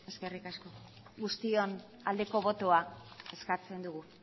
guztion aldeko botoa eskatzen dugu